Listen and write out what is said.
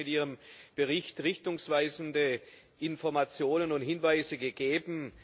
Sie hat mit ihrem Bericht richtungsweisende Informationen und Hinweise gegeben.